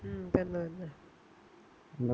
ഉം തന്നെ തന്നെ